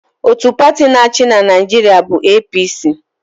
Otu pati na-achị na Naịjirịa bụ APC.